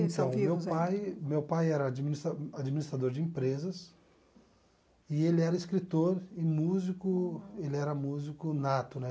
Então, meu pai meu pai era administra administrador de empresas e ele era escritor e músico, ele era músico nato, né?